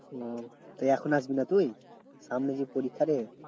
তো এখন আসবিনা তুই? সামনে যে পরীক্ষা রে।